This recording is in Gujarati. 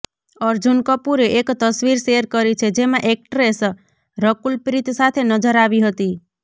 અર્જુન કપૂરે એક તસવીર શેર કરી છે જેમાં એકટ્રેસ રકુલપ્રીત સાથે નજર આવી હતી